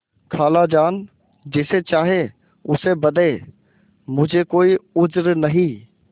खालाजान जिसे चाहें उसे बदें मुझे कोई उज्र नहीं